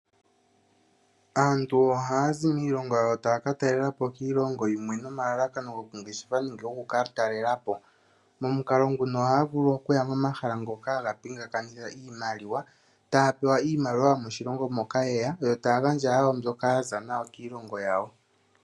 Aantu ohaya zi miilongo yawo taya ka talela po miilongo yimwe nomalalakano gokungeshefa nenge gokukatalelapo, omukalo nguno ohaya vulu okuya momahala ngoka haga pingakanitha iimaliwa, taya pewa iimaliwa yomoshilongo moka yeya yo taya gandja wo mbyoka ya za nayo kiilngo yawo.